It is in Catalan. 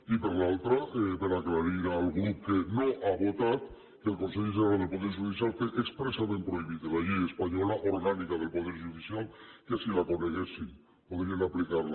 i per l’altra per aclarir al grup que no ha votat que el consell general del poder judicial té expressament prohibit de la llei espanyola orgànica del poder judicial que si la coneguessin podrien aplicar la